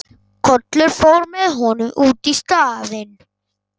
Kollur fór með honum út í staðinn.